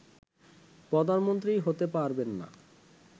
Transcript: প্রধানমন্ত্রী হতে পারবেন না